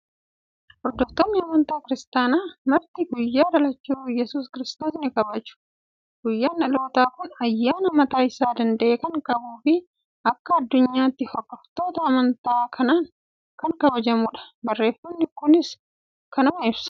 Hordoftoonni amantaa Kiristaanaa marti guyyaa Dhalachuu Yesuus Kiristoos ni kabaju. Guyyaan dhalootaa kun ayyaana mataa isaa danda'e kan qabuu fi akka addunyaatti hordoftoota amantaa kanaan kan kabajamudha. Barreeffamni kunis kanuma ibsa.